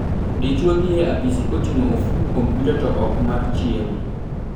Dichuo dhie apisi koting'o ofuku kompyuta to ok mar chiemo.